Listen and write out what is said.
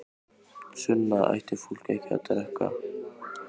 Sunna: Ætti fólk ekki að drekka?